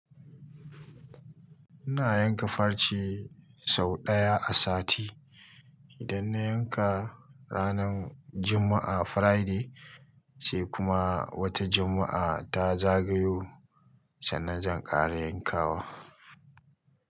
Ina yanka farce sau ɗaya a sati. Idan na yanka ranar Juma'a friday sai kuma wata Juma'a ta zagayo, sannan zan ƙara yankawa.